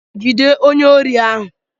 Jide onye órí ahụ!